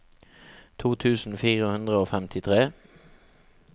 to tusen fire hundre og femtitre